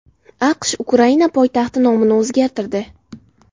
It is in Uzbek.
AQSh Ukraina poytaxti nomini o‘zgartirdi.